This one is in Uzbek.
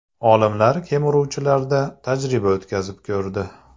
Olimlar kemiruvchilarda tajriba o‘tkazib ko‘rdi.